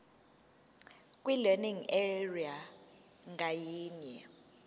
kwilearning area ngayinye